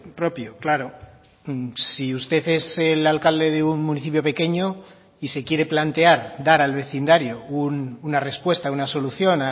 propio claro si usted es el alcalde de un municipio pequeño y se quiere plantear dar al vecindario una respuesta una solución